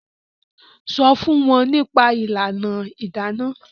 sọ fún wọn nípa ìlànà Idana.